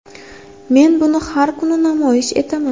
Men buni har kuni namoyish etaman.